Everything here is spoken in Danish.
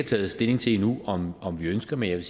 taget stilling til endnu om om vi ønsker men jeg